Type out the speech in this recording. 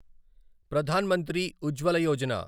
Pradhan Mantri Ujjwala Yojana